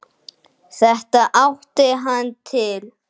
Þetta átti hann til.